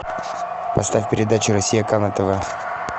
поставь передачу россия к на тв